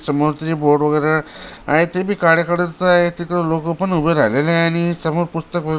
समोरच जे बोर्ड वगैरे आहे ते बी काळ्या कलरच आहे तिकड लोक पण उभे राहिलेल आहे आणि समोर पुस्तक व --